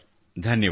ಧನ್ಯವಾದ